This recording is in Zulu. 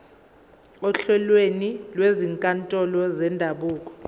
ohlelweni lwezinkantolo zendabuko